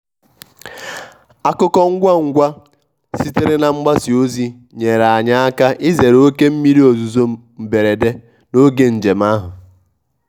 akụkọ ngwa ngwa sitere na mgbasa ozi nyere anyị aka izere oké mmiri ozuzo mberede n'oge njem ahụ.